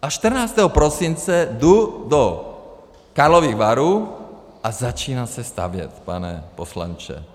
A 14. prosince jdu do Karlových Varů a začíná se stavět, pane poslanče.